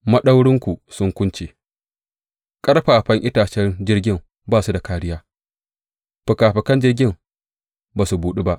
Maɗaurinku sun kunce ƙarfafan itacen jirgin ba su da kāriya, fikafikan jirgin ba su buɗu ba.